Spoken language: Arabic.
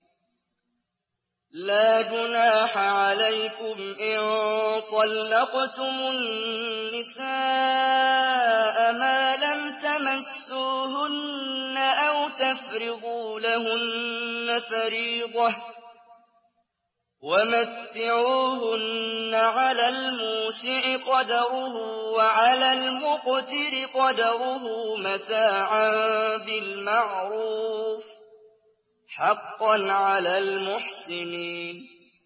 لَّا جُنَاحَ عَلَيْكُمْ إِن طَلَّقْتُمُ النِّسَاءَ مَا لَمْ تَمَسُّوهُنَّ أَوْ تَفْرِضُوا لَهُنَّ فَرِيضَةً ۚ وَمَتِّعُوهُنَّ عَلَى الْمُوسِعِ قَدَرُهُ وَعَلَى الْمُقْتِرِ قَدَرُهُ مَتَاعًا بِالْمَعْرُوفِ ۖ حَقًّا عَلَى الْمُحْسِنِينَ